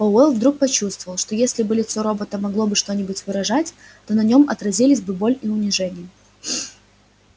пауэлл вдруг почувствовал что если бы лицо робота могло бы что-нибудь выражать то на нём отразились бы боль и унижение